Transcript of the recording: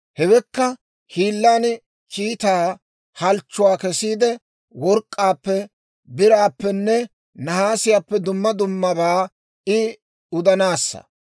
Hewekka hiilan kiitaa halchchuwaa kessiide, work'k'aappe, biraappenne nahaasiyaappe dumma dummabaa I udanaassa.